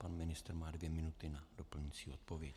Pan ministr má dvě minuty na doplňující odpověď.